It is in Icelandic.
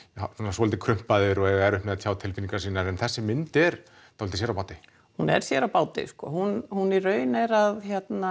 svolítið krumpaðir og eiga erfitt með að tjá tilfinningar en þessi mynd er svolítið sér á báti hún er sér á báti sko hún hún í raun er að